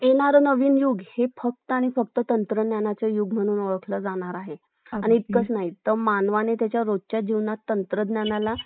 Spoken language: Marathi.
facebook हाय बाकी जे यु google मधील आपण काही गोष्ट search करू शकतो